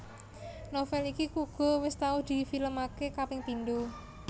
Novel iki uga wis tau di film aké kaping pindho